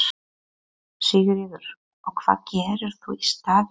Sigríður: Og hvað gerir þú í staðinn?